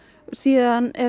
síðan er